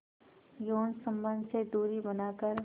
यौन संबंध से दूरी बनाकर